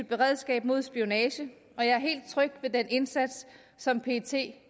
beredskab mod spionage og jeg er helt tryg ved den indsats som pet